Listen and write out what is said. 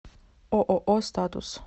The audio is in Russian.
ооо статус